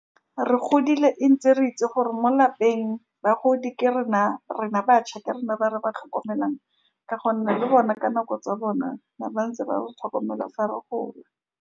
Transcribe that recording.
Re godile, re ntse re itse gore mo lapeng, bagodi ke rena-rena bašwa ke rena ba re ba tlhokomelang, ka gonne le bone ka nako tsa bona, ba ne ba ntse ba re tlhokomela fa re gola.